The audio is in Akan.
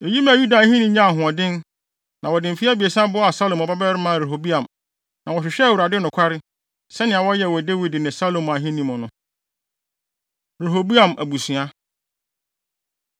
Eyi maa Yuda ahenni nyaa ahoɔden, na wɔde mfe abiɛsa boaa Salomo babarima Rehoboam, na wɔhwehwɛɛ Awurade nokware, sɛnea wɔyɛɛ wɔ Dawid ne Salomo ahenni mu no. Rehoboam Abusua